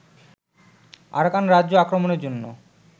Arakan রাজ্য আক্রমণের জন্য